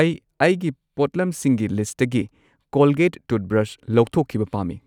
ꯑꯩ ꯑꯩꯒꯤ ꯄꯣꯠꯂꯝꯁꯤꯡꯒꯤ ꯂꯤꯁꯠꯇꯒꯤ ꯀꯣꯜꯒꯦꯠ ꯇꯨꯠꯕ꯭ꯔꯁ ꯂꯧꯊꯣꯛꯈꯤꯕ ꯄꯥꯝꯃꯤ꯫